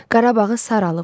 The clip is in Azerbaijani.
Qarabağı sarılıbdır.